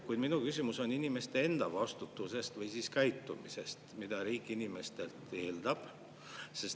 Kuid minu küsimus on inimeste enda vastutuse või käitumise kohta, mida riik inimestelt eeldab.